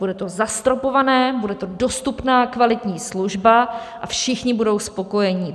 Bude to zastropované, bude to dostupná kvalitní služba a všichni budou spokojení.